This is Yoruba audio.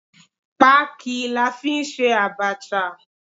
Pááki la fí n sẹ abacha